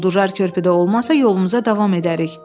Quldurlar körpüdə olmasa, yolumuza davam edərik.